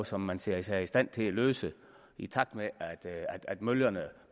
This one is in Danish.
som man ser sig i stand til at løse i takt med at møllerne